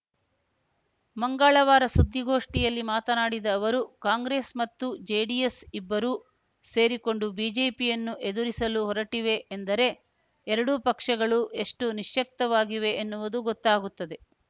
ಮಂಗಳವಾರ ಸುದ್ದಿಗೋಷ್ಠಿಯಲ್ಲಿ ಮಾತನಾಡಿದ ಅವರು ಕಾಂಗ್ರೆಸ್‌ ಮತ್ತು ಜೆಡಿಎಸ್‌ ಇಬ್ಬರೂ ಸೇರಿಕೊಂಡು ಬಿಜೆಪಿಯನ್ನು ಎದುರಿಸಲು ಹೊರಟಿವೆ ಎಂದರೆ ಎರಡೂ ಪಕ್ಷಗಳು ಎಷ್ಟುನಿಶ್ಯಕ್ತವಾಗಿವೆ ಎನ್ನುವುದು ಗೊತ್ತಾಗುತ್ತದೆ